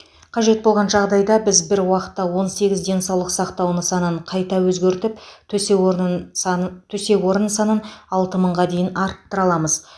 қажет болған жағдайда біз бір уақытта он сегіз денсаулық сақтау нысанын қайта өзгертіп төсек орнын санын төсек орын санын алты мыңға дейін арттыра аламыз